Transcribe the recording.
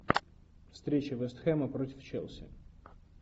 встреча вест хэма против челси